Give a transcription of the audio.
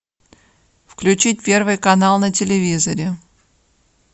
включить первый канал на телевизоре